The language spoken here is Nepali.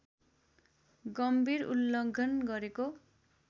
गम्भीर उल्लङ्घन गरेको